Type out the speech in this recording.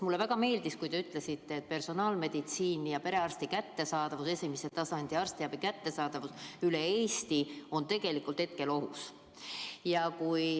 Mulle väga meeldis, kui te ütlesite, et personaalmeditsiin ja perearstiabi, esimese tasandi arstiabi kättesaadavus üle Eesti on hetkel ohus.